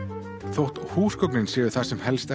þótt húsgögnin séu það sem helst